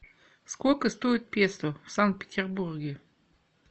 сколько стоит песо в санкт петербурге